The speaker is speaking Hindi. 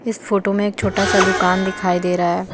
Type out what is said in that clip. इस फोटो में एक छोटा सा दुकान दिखाई दे रहा है।